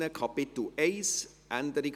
Auch hier eine Änderung: